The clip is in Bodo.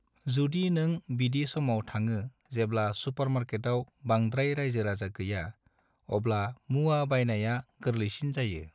जुदि नों बिदि समाव थाङो जेब्ला सुपरमार्केटाव बानद्राय रायजो राजा गैया अब्ला मुवा बायनाइया गोरलैसिन जायो।